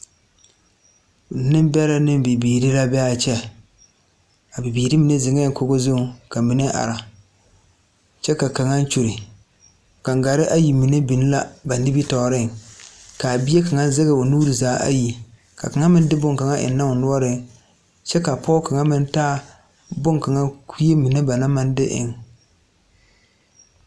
Nebɛrɛ ne bibiire la be a kyɛ. A bibiire mene zeŋe kogo zuŋ ka mene are. Kyɛ ka kanga kyule. Gangare ayi mene meŋ la ba nimitooreŋ. Ka a bie kanga zeg o nuure zaa ayi. Ka kanga meŋ de boŋ kanga eŋ na o nuoreŋ kyɛ ka pɔgɔ kanga meŋ taa boŋ kanga kue mene ba na ma de eŋ